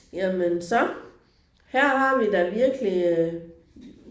Jamen så her har vi da virkelig øh